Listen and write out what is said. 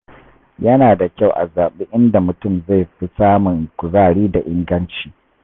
Yana da kyau a zaɓi inda mutum zai fi samun kuzari da inganci.